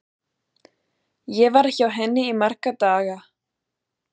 Ég var hjá henni í marga daga.